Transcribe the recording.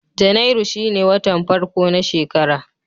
Janairu shine watan farko na shekara.